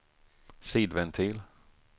sidventil